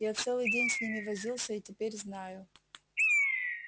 я целый день с ними возился и теперь знаю